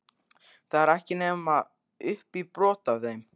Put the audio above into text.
Það er ekki til nema upp í brot af þeim?